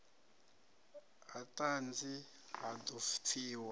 ha ṱhanzi ha ḓo pfiwa